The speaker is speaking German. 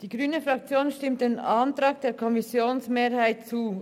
Die grüne Fraktion stimmt dem Antrag der Kommissionsmehrheit zu.